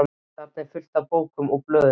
Þarna er allt fullt af bókum og blöðum.